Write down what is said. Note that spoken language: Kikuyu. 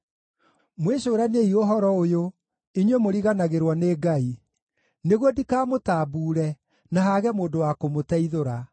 “Mwĩcũraniei ũhoro ũyũ, inyuĩ mũriganagĩrwo nĩ Ngai, nĩguo ndikamũtambuure, na haage mũndũ wa kũmũteithũra.